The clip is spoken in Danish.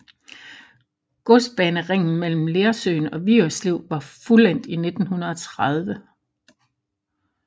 Godsbaneringen mellem Lersøen og Vigerslev var fuldendt i 1930